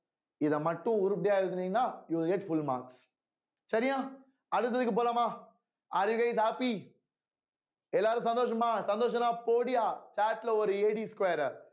இத மட்டும் உருப்படியா எழுதுனீங்கன்னா you get full mark சரியா அடுத்ததுக்கு போலாமா are guys happy எல்லாரும் சந்தோஷமா சந்தோஷமா போடுயா chat ல ஒரு square அ